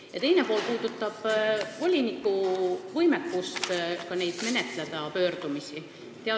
Küsimuse teine pool puudutab voliniku võimekust neid pöördumisi menetleda.